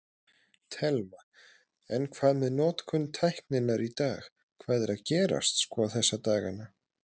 Telma: En hvað með notkun tækninnar í dag, hvað er að gerast sko þessa dagana?